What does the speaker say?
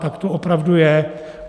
Tak to opravdu je.